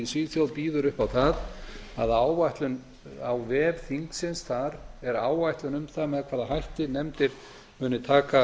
svíþjóð býður upp á það að áætlun á vef þingsins þar er áætlun um það með hvaða hætti nefndir muni taka